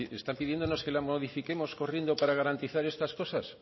están pidiendo que la modifiquemos corriendo para garantizar estas cosas